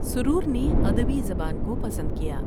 سرور نے ادبی زبان کو پسند کیا ۔